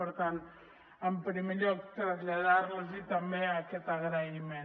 per tant en primer lloc traslladar los també aquest agraïment